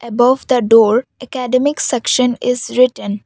above the door academic section is written.